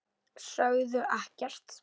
Sögðu ekkert.